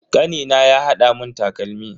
Kanina ya hada mun takalmi.